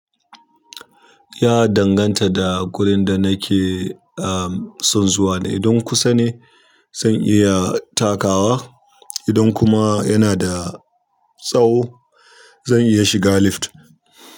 Ya danganta da gurin da nake ah son zuwa ne, idan kusa ne zan iya takawa, idan kuma yana da tsawo zan iya shiga lift.